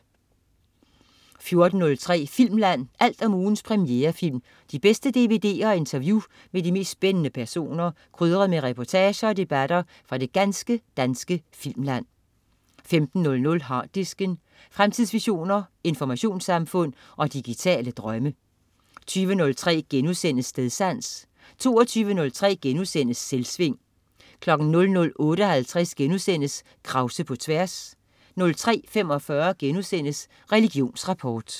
14.03 Filmland. Alt om ugens premierefilm, de bedste dvd'er og interview med de mest spændende personer, krydret med reportager og debatter fra det ganske danske filmland 15.00 Harddisken. Fremtidsvisioner, informationssamfund og digitale drømme 20.03 Stedsans* 22.03 Selvsving* 00.58 Krause på tværs* 03.45 Religionsrapport*